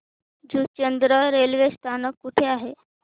Juchandra railway स्थानक कुठे आहे